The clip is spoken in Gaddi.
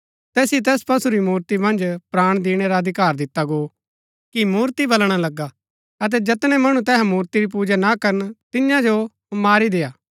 तैसिओ तैस पशु री मूर्ति मन्ज प्राण दिणै रा अधिकार दिता गो कि मूर्ति बलणा लगा अतै जैतनै मणु तैहा मूर्ति री पूजा ना करन तियां जो मारी देय्आ